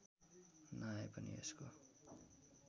नआए पनि यसको